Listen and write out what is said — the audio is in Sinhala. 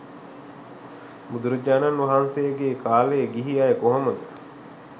බුදුරජාණන් වහන්සේගේ කාලේ ගිහි අය කොහොමද